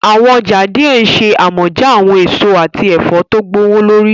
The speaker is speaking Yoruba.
Awọn ọja diẹ nṣe amọja awọn eso ati ẹfọ to gbowolori.